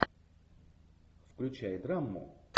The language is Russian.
включай драму